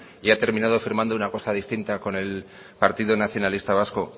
y ha terminado firmando una cosa distinta con el partido nacionalista vasco